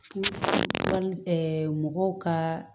mɔgɔw ka